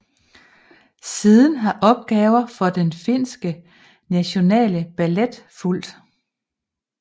Siden har opgaver for Den Finske National Ballet fulgt